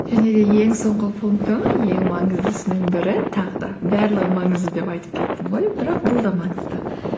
және де ең соңғы пунктім ең маңыздысының бірі тағы да барлығы маңызды деп айттып кеттім ғой бірақ бұл да маңызды